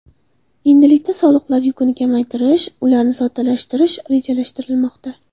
Endilikda soliqlar yukini kamaytirish, ularni soddalashtirish rejalashtirilmoqda.